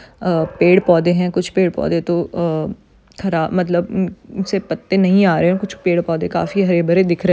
अ पेड़ पौधे है कुछ पेड़ पौधे तो अ हरा मतलब म ह उनसे पत्त नहीं आ रहे कुछ पेड़ पौधे काफी हरे भरे दिख रहे--